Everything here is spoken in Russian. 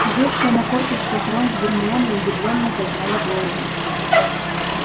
сидевшие на корточках рон с гермионой удивлённо подняли головы